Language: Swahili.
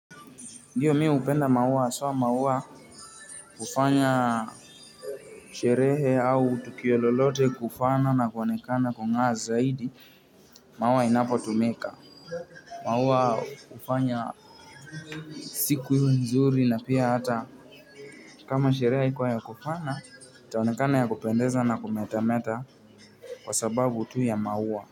Ndiyo mi hupenda maua haswa maua hufanya sherehe au tukio lolote kufana na kuanekana kung'aa zaidi maua inapotumeka. Maua hufanya siku iwe nzuri na pia hata kama sherehe haikuwa ya kufana taonekana ya kupendeza na kumetameta kwa sababu tu ya maua.